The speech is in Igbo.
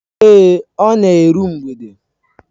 Èé, ọ na eru mgbede.